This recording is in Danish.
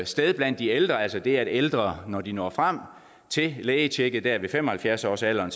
sted blandt de ældre altså det at mange ældre når de når frem til lægetjekket der ved fem og halvfjerds års alderen